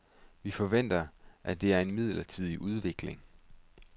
Vi forventer, at det er en midlertidig udvikling.